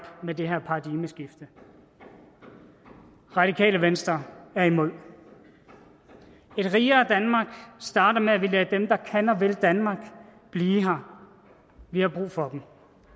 med det her paradigmeskift radikale venstre er imod et rigere danmark starter med at vi lader dem der kan og vil danmark blive her vi har brug for dem